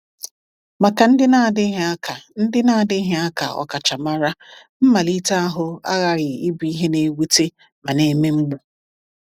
Maka ndị na-adịghị aka ndị na-adịghị aka ọkachamara, mmalite ahụ aghaghị ịbụ ihe na-ewute ma na-eme mgbu.